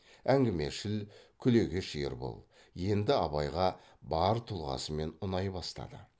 әңгімешіл күлегеш ербол енді абайға бар тұлғасымен ұнай бастады